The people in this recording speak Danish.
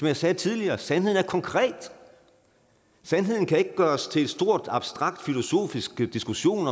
jeg sagde tidligere sandheden er konkret sandheden kan ikke gøres til en stor abstrakt filosofisk diskussion